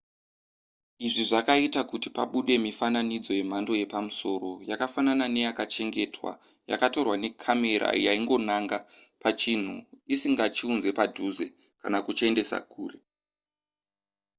izvi zvakaita kuti pabude mifananidzo yemhando yepamusoro yakafanana neyakachengetwa yakatorwa necamera yaingonanga pachinhu isingachiunze padhuze kana kuchiendesa kure